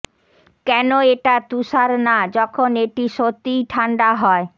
কেন এটা তুষার না যখন এটি সত্যিই ঠান্ডা হয়